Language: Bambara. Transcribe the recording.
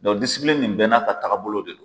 Don disipplini nin bɛn n(a ka tagabolo de don.